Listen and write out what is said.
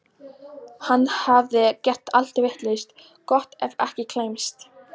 Hann hafði gert allt vitlaust, gott ef ekki klæmst.